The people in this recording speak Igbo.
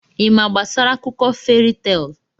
Ị ma gbasara akụkọ feri teelụ?